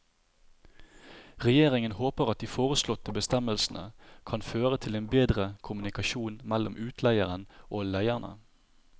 Regjeringen håper at de foreslåtte bestemmelsene kan føre til en bedre kommunikasjon mellom utleieren og leierne.